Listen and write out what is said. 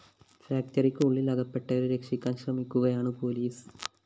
ഫാക്ടറിക്ക് ഉള്ളില്‍ അകപ്പെട്ടവരെ രക്ഷിക്കാന്‍ ശ്രമിക്കുകയാണ് പോലീസ്